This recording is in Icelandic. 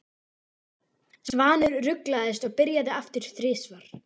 Svanur ruglaðist og byrjaði aftur þrisvar.